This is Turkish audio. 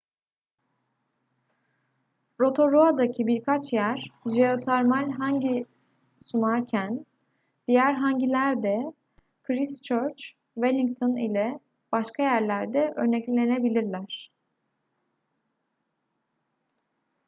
rotorua'daki birkaç yer jeotermal hangi sunarken diğer hangiler de christchurch wellington ile başka yerlerde örneklenebilirler